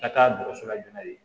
Ka taa dɔgɔtɔrɔso la joona de